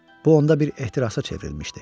Bu onda bir ehtirasa çevrilmişdi.